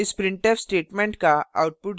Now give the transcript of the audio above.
इस printf statements का output 0 है